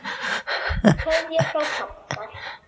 Kveðja frá pabba.